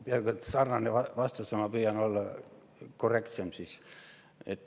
Peaaegu et sarnane vastus, ma püüan siis olla korrektsem.